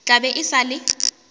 tla be e sa le